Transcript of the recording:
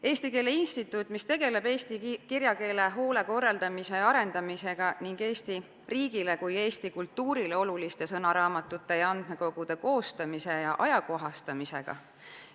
Eesti Keele Instituut tegeleb eesti kirjakeele hoolde, korraldamise ja arendamisega ning Eesti riigile ja eesti kultuurile oluliste sõnaraamatute ja andmekogude koostamise ja ajakohastamisega.